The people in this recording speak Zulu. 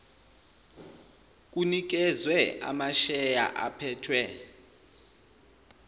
kunikezwe amasheya aphethwe